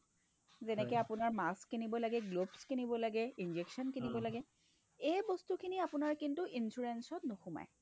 যেনেকৈ আপোনাৰ mask কিনিব লাগে , gloves কিনিব লাগে, injection কিনিব লাগে এই বস্তুখিনি আপোনাৰ কিন্তু insurance ত নোসোমায়।